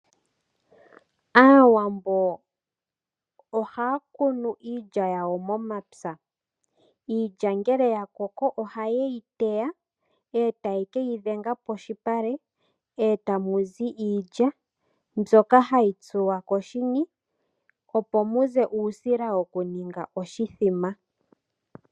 Aawambo ohaya kunu iilya yawo momapya. Iilya ngele yakoko ohayeyi teya eta ye keyi dhenga poshipale eta muzi iilya mbyoka hayi tsuwa koshini opo muze uusila wokuninga oshithima.